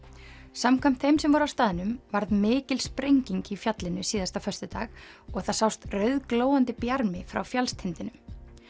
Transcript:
samkvæmt þeim sem voru á staðnum varð mikil sprenging í fjallinu síðasta föstudag og það sást rauðglóandi bjarmi frá fjallstindinum